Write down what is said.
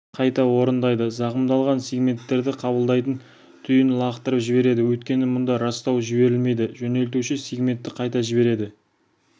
қайта орындайды зақымдалған сегменттерді қабылдайтын түйін лақтырып жібереді өйткені мұнда растау жіберілмейді жөнелтуші сегментті қайта жібереді